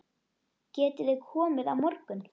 Getiði komið á morgun?